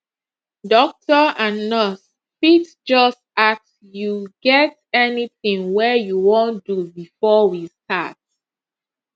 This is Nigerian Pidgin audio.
doctor and nurse fit just ask you get anything wey you wan do before we start